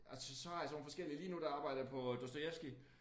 Altså så har jeg sådan nogle forskellige lige nu der arbejder jeg på Dostojevskij